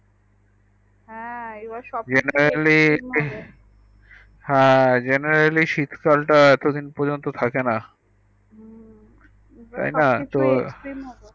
হ্যাঁ এবার ই সব কিছু হ্যাঁ Generali শীত কাল টা এত দিন পর্যন্ত থাকে না হুএবার সবকিছু আন্নরকম